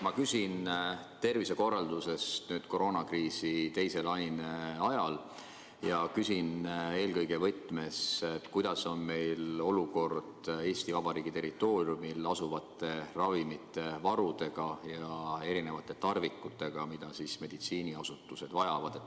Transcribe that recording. Ma küsin tervishoiukorralduse kohta koroonakriisi teise laine ajal, ja küsin eelkõige võtmes, kuidas on olukord Eesti Vabariigi territooriumil asuvate ravimivarudega ja erinevate tarvikutega, mida meditsiiniasutused vajavad.